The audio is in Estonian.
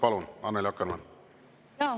Palun, Annely Akkermann!